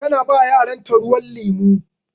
Ta na ba yaran ta ruwan lemu.